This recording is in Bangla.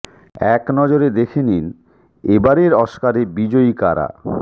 এক নজরে দেখে নিন এ বারের অস্কারে বিজয়ী কারা